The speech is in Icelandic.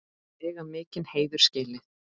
Þau eiga mikinn heiður skilið.